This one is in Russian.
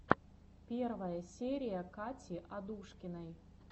первая серия кати адушкиной